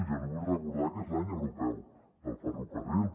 jo li vull recordar que és l’any europeu del ferrocarril